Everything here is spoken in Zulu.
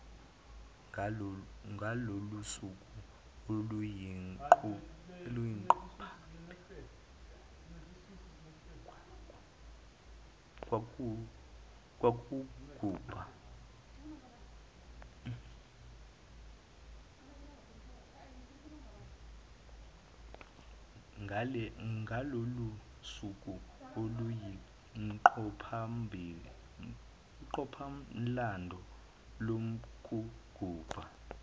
ngalolusuku oluyinqophamlando lokugubha